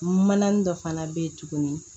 Manani dɔ fana bɛ yen tuguni